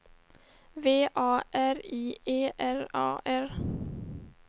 V A R I E R A R